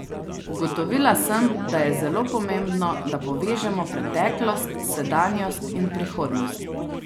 Ugotovila sem, da je zelo pomembno, da povežemo preteklost, sedanjost in prihodnost.